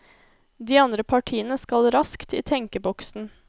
De andre partiene skal raskt i tenkeboksen.